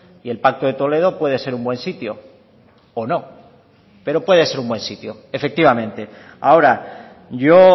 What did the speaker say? y el pacto de toledo puede ser un buen sitio o no pero puede ser un buen sitio efectivamente ahora yo